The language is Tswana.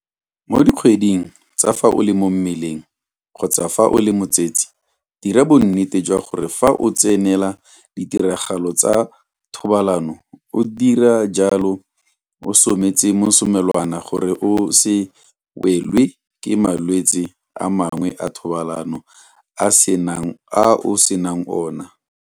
Mo dikgweding tsa fa o le mo mmeleng kgotsa fa o le motsetse dira bonnete jwa gore fa o tsenela ditiragalo tsa thobalano o dira jalo o sometse mosomelwana gore o se welwe ke malwetse a mangwe a thobalano a o senang ona.